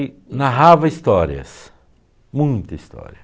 narrava histórias, muita história.